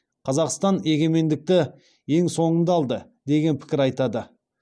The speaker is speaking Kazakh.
қазақстан егемендікті ең соңында алды деген пікір айтады